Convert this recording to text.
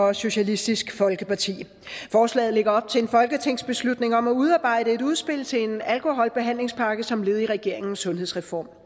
og socialistisk folkeparti forslaget lægger op til en folketingsbeslutning om at udarbejde et udspil til en alkoholbehandlingspakke som led i regeringens sundhedsreform